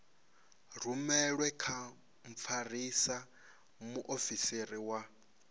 rumelwe kha mfarisa muofisiri wa